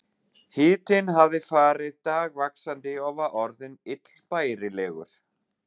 Hitinn hafði farið dagvaxandi og var orðinn illbærilegur.